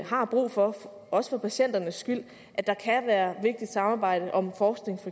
har brug for også for patienternes skyld at der kan være vigtigt samarbejde om forskning